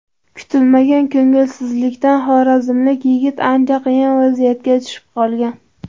Kutilmagan ko‘ngilsizlikdan xorazmlik yigit ancha qiyin vaziyatga tushib qolgan.